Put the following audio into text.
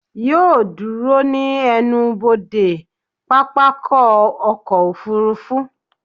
Yóò ó dúró ní ẹnubodè pápákọ̀ ọkọ̀ òfurufú